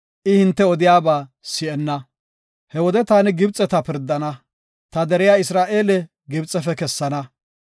I hinte odiyaba si7enna. He wode taani Gibxeta pirdana; ta deriya Isra7eele Gibxefe kessana.